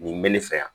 Nin bɛ ne fɛ yan